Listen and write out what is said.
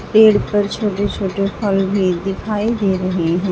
पेड़ पर छोटे छोटे फल भी दिखाई दे रहे हैं।